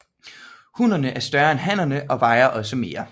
Hunnerne er større end hannerne og vejer også mere